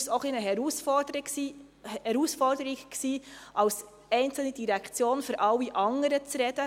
Deshalb war es eine Herausforderung, als einzelne Direktion für alle anderen zu sprechen.